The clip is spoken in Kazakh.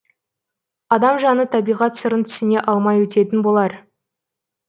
адам жаны табиғат сырын түсіне алмай өтетін болар